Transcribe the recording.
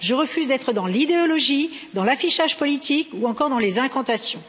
Je refuse d'être dans l'idéologie, dans l'affichage politique ou encore dans les incantations.